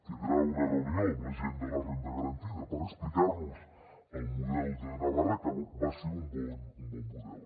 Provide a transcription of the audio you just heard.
tindrà una reunió amb la gent de la renda garantida per explicar nos el model de navarra que va ser un bon model